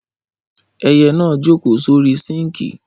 Ẹyẹ na jókò sorí sinki.